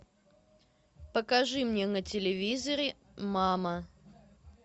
покажи мне на телевизоре мама